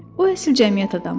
O əsl cəmiyyət adamı idi.